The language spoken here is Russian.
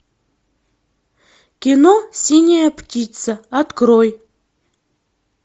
кино синяя птица открой